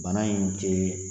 Bana ye nin cɛ ye